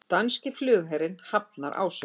Danski flugherinn hafnar ásökunum